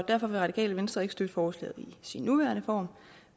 derfor vil radikale venstre ikke støtte forslaget i sin nuværende form